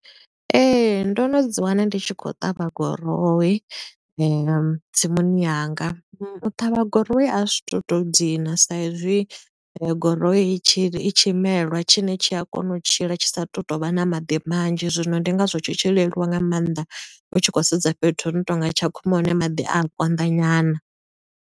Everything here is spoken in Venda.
Ee, ndo no dzi wana ndi tshi khou ṱavha gurowi, tsimuni yanga. U ṱavha guroi a zwi tu to dina, sa i zwi guroi i tshi i tshi melwa tshine tshi a kona u tshila tshi sa tu tovha na maḓi manzhi. Zwino ndi nga zwo tshi tshi leluwa nga maanḓa, u tshi khou sedza fhethu hu no tonga Tshakhuma hune maḓi a konḓa nyana.